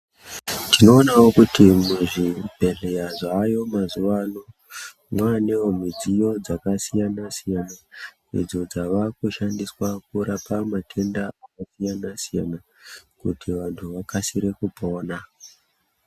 Tinoonavo kuti muzvibhedhleya zvaayo mazuva ano, mwanevo zvidziyo zvakasiyana-siyana. Idzo dzawakushandiswa kurapa matenda akasiyana-siyana kuti vantu vakasire kupona.